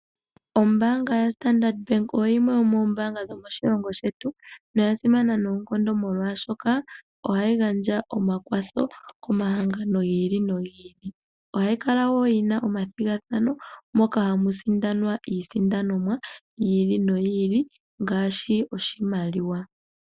Ombaanga yaStandard bank oyo yimwe yo mombaanga ndhoka hatu adha moshilongo shetu noya simana noonkondo molwaashoka ohayi gandja omakwatho komahangano gi ili nogi ili ohayi kala yina omathigafathano moka hamu sindanwa iisindwanomwa yi ili noyi ili ngaashi oshimaliwa.